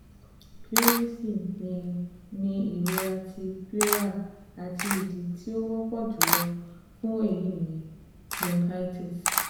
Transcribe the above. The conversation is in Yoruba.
Pleurisy ni ni irọra ti pleura ati idi ti o wọpọ julọ fun eyi ni bronchitis